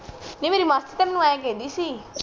ਨੀ ਮੇਰੀ ਮਾਸੀ ਤੈਨੂੰ ਏਹ ਖੇਂਦੀ ਸੀ